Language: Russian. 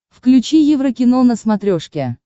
включи еврокино на смотрешке